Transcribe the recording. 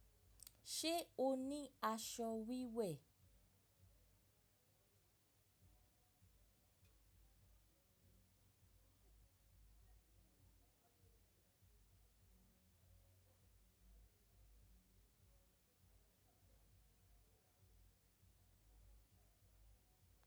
Ṣe o ni aṣọ wíwẹ̀?